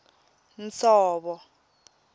nsovo